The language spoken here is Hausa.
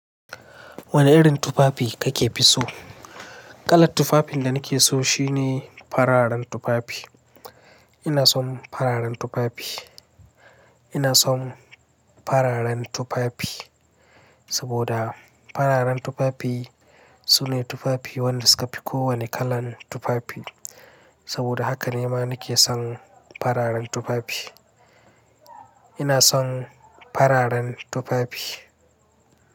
Wane irin tufafi kake fi so? Kalar tufafin da nake so shine fararen tufafi. Ina son fararen tufafi. Ina son fararen tufafi saboda fararen tufafi sune tufafi wanda suka fi kowane kalan tufafi. Saboda haka ne ma nake son fararen tufafi. Ina son fararen tufafi.